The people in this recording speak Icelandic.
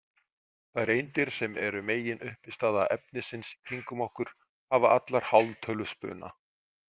Þær eindir sem eru meginuppistaða efnisins kringum okkur hafa allar hálftöluspuna.